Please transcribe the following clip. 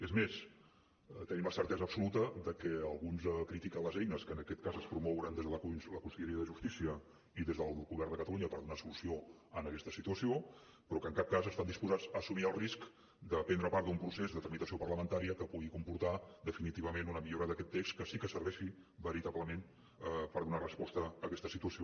és més tenim la certesa absoluta de que alguns critiquen les eines que en aquest cas es promouen des de la conselleria de justícia i des del govern de catalunya per donar solució a aquesta situació però que en cap cas estan disposats a assumir el risc de prendre part d’un procés de tramitació parlamentària que pugui comportar definitivament una millora d’aquest text que sí que serveixi veritablement per donar resposta a aquesta situació